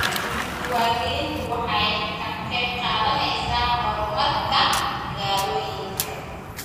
Diiwaangelintu waxay ka qayb qaadanaysaa horumarka magaalooyinka.